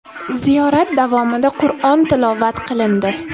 Ziyorat davomida Qur’on tilovat qilindi.